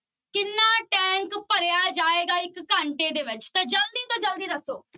ਕਿੰਨ tank ਭਰਿਆ ਜਾਏਗਾ ਇੱਕ ਘੰਟੇ ਵਿੱਚ ਤਾਂ ਜ਼ਲਦੀ ਤੋਂ ਜ਼ਲਦੀ ਦੱਸੋ।